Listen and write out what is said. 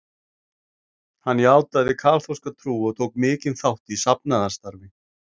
Hann játaði kaþólska trú og tók mikinn þátt í safnaðarstarfi.